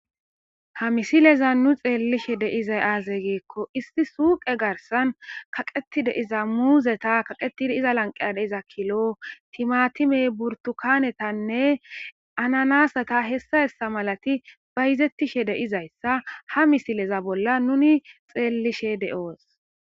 Ha misilezan nu xelishe diza aze giikon issi suqe garisan kaqetid de'iza muzeta , kaqetid iza garsan de'za kilo , timatime, burtukanetanne ananasata h.h.m bayzetishe de'zaysa ha misileza nun xelishe de'os.